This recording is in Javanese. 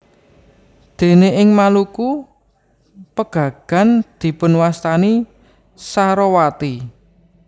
Déné ing Maluku pegagan dipunwastani sarowati